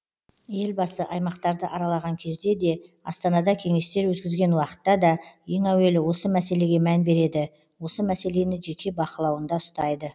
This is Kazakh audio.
елбасы аймақтарды аралаған кезде де астанада кеңестер өткізген уақытта да ең әуелі осы мәселеге мән береді осы мәселені жеке бақылауында ұстайды